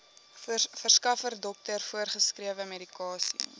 verskaffer dokter voorgeskrewemedikasie